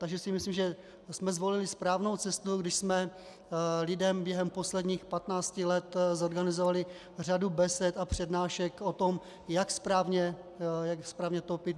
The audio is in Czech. Takže si myslím, že jsme zvolili správnou cestu, když jsme lidem během posledních 15 let zorganizovali řadu besed a přednášek o tom, jak správně topit.